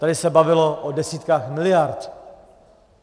Tady se bavilo o desítkách miliard.